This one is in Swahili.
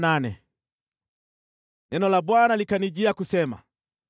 Neno la Bwana likanijia kusema: